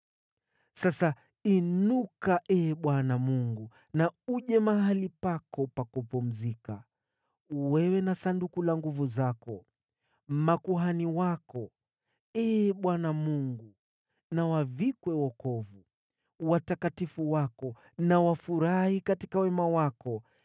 “Sasa inuka, Ee Bwana Mungu, na uje mahali pako pa kupumzikia, wewe na Sanduku la nguvu zako. Makuhani wako, Ee Bwana Mungu, na wavikwe wokovu, watakatifu wako na wafurahi katika wema wako.